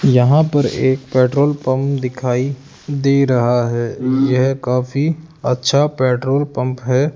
यहां पर एक पेट्रोल पंप दिखाई दे रहा है यह काफी अच्छा पेट्रोल पंप है।